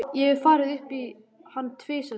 Ég hef farið upp í hann tvisvar sinnum.